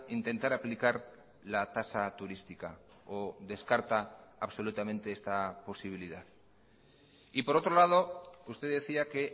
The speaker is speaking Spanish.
intentar aplicar la tasa turística o descarta absolutamente esta posibilidad y por otro lado usted decía que